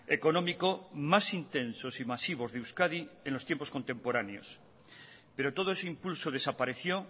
económico más intensos y masivos de euskadi en los tiempos contemporáneos pero todo ese impulso desapareció